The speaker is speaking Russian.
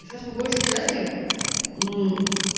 сейчас по большей части